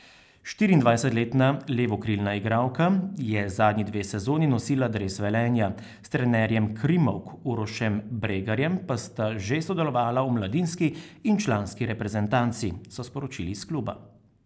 Štiriindvajsetletna levokrilna igralka je zadnji dve sezoni nosila dres Velenja, s trenerjem krimovk Urošem Bregarjem pa sta že sodelovala v mladinski in članski reprezentanci, so sporočili iz kluba.